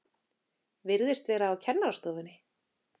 Virðist vera á kennarastofunni.